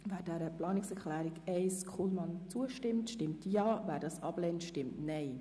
Wer diese annehmen will, stimmt Ja, wer diese ablehnt, stimmt Nein.